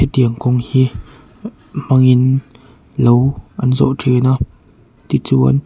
he tiang kawng hi hmangin lo an zawh thin a tichuan.